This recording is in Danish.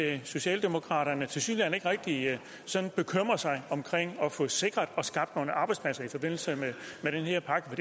at socialdemokraterne tilsyneladende ikke rigtig bekymrer sig om at få sikret og skabt nogle arbejdspladser i forbindelse med den her pakke